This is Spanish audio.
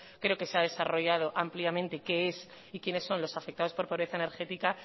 creo que se ha desarrollado ampliamente qué es y quiénes son los afectados por pobreza energética